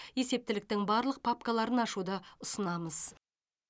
есептіліктің барлық папкаларын ашуды ұсынамыз